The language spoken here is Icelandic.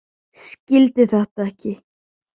Skildi þetta ekki.